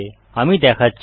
আমি দেখাচ্ছি